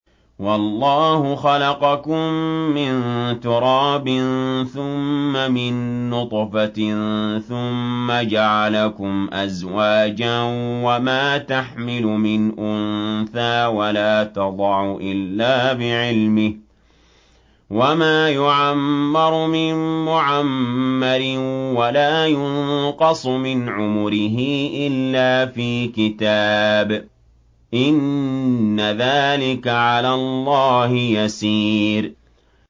وَاللَّهُ خَلَقَكُم مِّن تُرَابٍ ثُمَّ مِن نُّطْفَةٍ ثُمَّ جَعَلَكُمْ أَزْوَاجًا ۚ وَمَا تَحْمِلُ مِنْ أُنثَىٰ وَلَا تَضَعُ إِلَّا بِعِلْمِهِ ۚ وَمَا يُعَمَّرُ مِن مُّعَمَّرٍ وَلَا يُنقَصُ مِنْ عُمُرِهِ إِلَّا فِي كِتَابٍ ۚ إِنَّ ذَٰلِكَ عَلَى اللَّهِ يَسِيرٌ